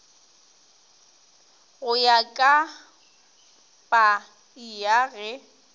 go ya ka paia ge